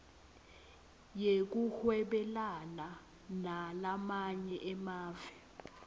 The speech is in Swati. yekuhwebelana nalamanye emave